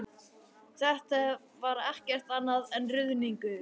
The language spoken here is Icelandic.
Þetta var ekkert annað en ruðningur!